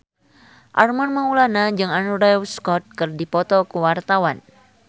Armand Maulana jeung Andrew Scott keur dipoto ku wartawan